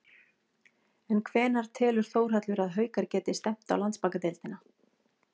En hvenær telur Þórhallur að Haukar geti stefnt á Landsbankadeildina?